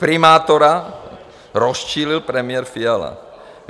Primátora rozčílil premiér Fiala.